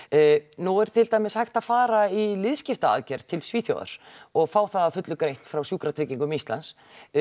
nú er til dæmis hægt að fara í liðskiptaaðgerð til Svíþjóðar og fá það að fullu greitt frá Sjúkratryggingum Íslands